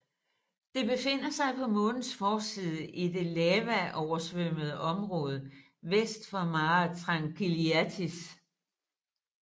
Det befinder sig på Månens forside i det lavaoversvømmede område vest for Mare Tranquillitatis